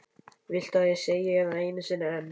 Viltu að ég segi það einu sinni enn?